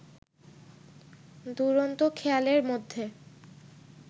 দুরন্ত খেয়ালের মধ্যে